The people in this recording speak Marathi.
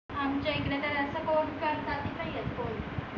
आमच्या इकडे तर अस